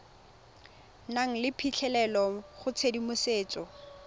nang le phitlhelelo go tshedimosetso